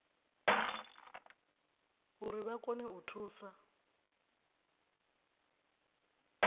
uri vha kone u thusa